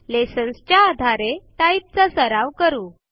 lessonच्या आधारे टाइप चा सराव करू